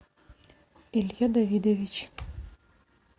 илья давидович